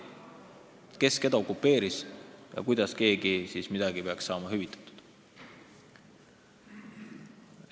Kes keda okupeeris ja kuidas keegi siis peaks saama hüvitatud?